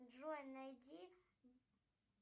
джой найди